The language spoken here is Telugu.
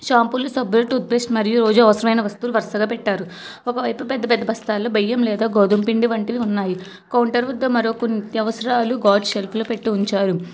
షాంపులు సబ్బులు టూత్ పేస్ట్ మరియు రోజు అవసరమైన వస్తువులు వరుసగా పెట్టారు ఒక వైపు పెద్ద పెద్ద బస్తాల్లో బయ్యం లేదా గోధుమ పిండి వంటివి ఉన్నాయి కౌంటర్ వద్ద మరో కొన్ని నిత్యావసరాలు గాను సెల్ఫ్లో పెట్టి ఉంచారు.